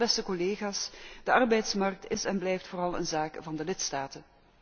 Maar, beste collega's, de arbeidsmarkt is en blijft vooral een zaak van de lidstaten.